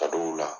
Ka dɔw la